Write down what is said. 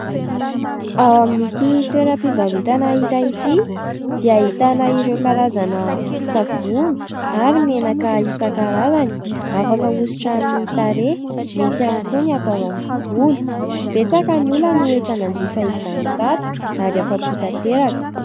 Ao amin'ity toeram-pivarotana iray ity dia ahitana ireo karazana savony ary menaka isan-karazany, afaka ahosotra amin'ny tarehy, misy ihany koa ny atao amin'ny volo. Betsaka ny olona no efa nanjifa izany tato ary afa-po tanteraka.